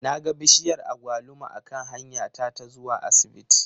Na ga bishiyar agwaluma a kan hanya ta ta zuwa asibiti